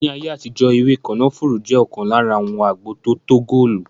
Ní ayé àtijó ewé kànáfùrú jẹ ọkan lára àwọn agbo tótó góòlù